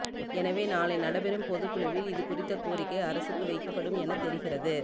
எனவே நாளை நடைபெறும் பொதுக்குழுவில் இதுகுறித்த கோரிக்கை அரசுக்கு வைக்கப்படும் என தெரிகிறது